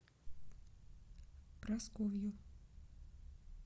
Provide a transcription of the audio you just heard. прасковью